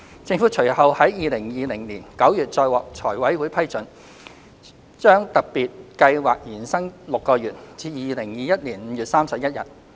政府隨後在2020年9月再獲財委會批准，把特別計劃延伸6個月至2021年5月31日。